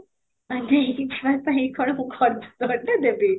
କ'ଣ ପାଇଁ କଣ ମୁଁ କ'ଣ ଖର୍ଚ୍ଚ କରିତେ ଦେବି?